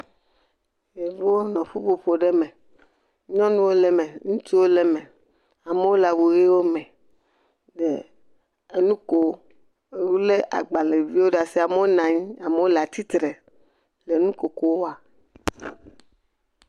Ɖeviwo nɔ ƒuƒoƒo aɖe me, nyɔnuwo le eme, ŋutsuwo le eme. Amewo le awu ʋiwo me le nukom. Wole agbalẽviwo ɖe asi. Amewo le atsi tre, amewo nɔ anyi le nu koko wa.